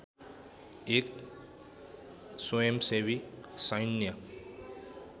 एक स्वयंसेवी सैन्य